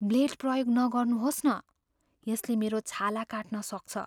Blade प्रयोग नगर्नुहोस् न। यसले मेरो छाला काट्न सक्छ।